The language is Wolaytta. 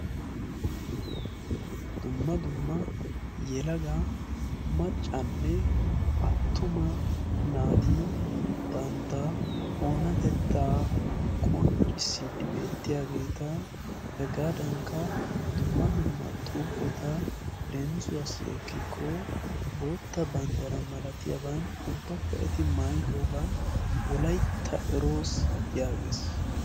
dumma dumma yelaga maccanne attuma naati bantta oonatettaa qonccissiid beettiyaageeta hegaadankka dumma dumma xuufeta leemisuwaasi ekkikko bootta banddara malatiyaaban ubbakka eti maayidoogan wolaitta eroos yaagees.